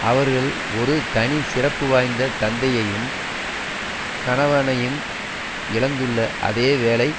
அவர்கள் ஒரு தனி சிறப்பு வாய்ந்த தந்தையையும் கனவனையும் இழந்துள்ள அதே வேளை